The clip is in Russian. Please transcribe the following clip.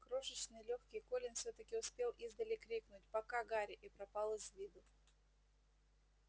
крошечный лёгкий колин всё таки успел издали крикнуть пока гарри и пропал из виду